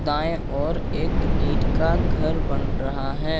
दाएं ओर एक ईंट का घर बन रहा है।